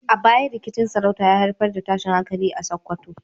A baya, rikicin sarauta ya haifar da tashin hankali a Sakkwato.